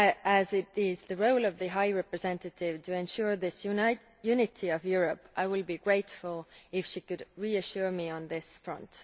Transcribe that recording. As it is the role of the High Representative to ensure this unity of Europe, and I would be grateful if she could reassure me on this front.